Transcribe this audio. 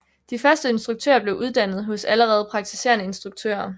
De første instruktører blev uddannet hos allerede praktiserende instruktører